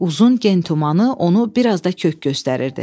Uzun gen tumanı onu biraz da kök göstərirdi.